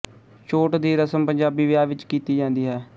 ਛੋਟ ਦੀ ਰਸਮ ਪੰਜਾਬੀ ਵਿਆਹ ਵਿੱਚ ਕੀਤੀ ਜਾਂਦੀ ਹੈ